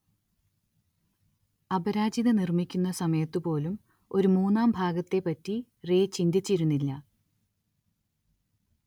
അപരാജിത നിർമ്മിക്കുന്ന സമയത്തുപോലും ഒരു മൂന്നാം ഭാഗത്തെപ്പറ്റി റേ ചിന്തിച്ചിരുന്നില്ല.